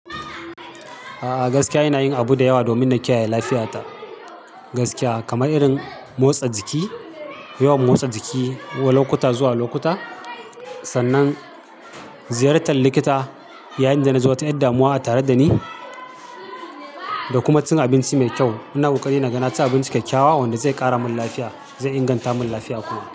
A'a, gaskiya ina yin abu da yawa domin na kiyaye lafiya ta. Gaskiya kamar irin motsa jiki, yawan motsa jiki wa lokuta zuwa lokuta, sannan ziyartar likita yayin da na ji wata yar damuwa a tare da ni da kuma cin abinci mai kyau. Ina ƙoƙarin naga naci abinci kyakkyawa wanda zai ƙara min lafiya, zai inganta min lafiya kuma.